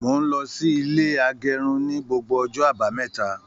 Mó n lọ sí ilé agérun ní gbogbo ọjọ́ àbámẹ́ta.